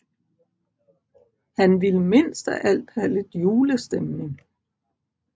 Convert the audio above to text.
Han ville mindst af alt have lidt julestemning